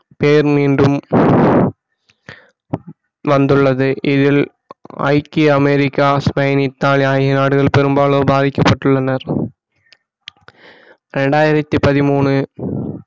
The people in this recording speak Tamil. பேர் மீண்டும் வந்துள்ளது இதில் ஐக்கிய அமெரிக்கா ஸ்பெயின் இத்தாலி ஆகிய நாடுகள் பெரும்பாலானோர் பாதிக்கப்பட்டுள்ளனர் இரண்டாயிரத்தி பதிமூணு